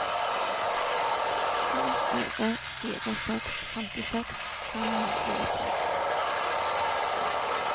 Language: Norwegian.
to fire fire seks femtiseks fem hundre og ti